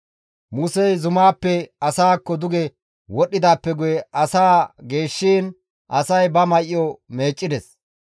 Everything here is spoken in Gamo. Musey zumaappe asaakko duge wodhdhidaappe guye asaa geeshshiin asay ba may7o meeccides.